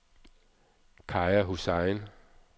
Kaja Hussain